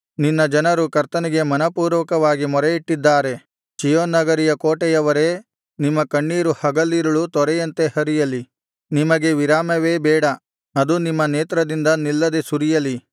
ನಿನ್ನ ಜನರು ಕರ್ತನಿಗೆ ಮನಃಪೂರ್ವಕವಾಗಿ ಮೊರೆಯಿಟ್ಟಿದ್ದಾರೆ ಚೀಯೋನ್ ನಗರಿಯ ಕೋಟೆಯವರೇ ನಿಮ್ಮ ಕಣ್ಣೀರು ಹಗಲಿರುಳೂ ತೊರೆಯಂತೆ ಹರಿಯಲಿ ನಿಮಗೆ ವಿರಾಮವೇ ಬೇಡ ಅದು ನಿಮ್ಮ ನೇತ್ರದಿಂದ ನಿಲ್ಲದೆ ಸುರಿಯಲಿ